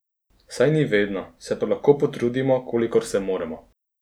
Saj niso vedno, se pa lahko potrudimo, kolikor se moremo.